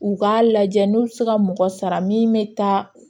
U k'a lajɛ n'u bɛ se ka mɔgɔ sara min bɛ taa